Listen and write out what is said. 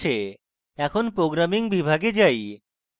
এখন programming বিভাগে যাই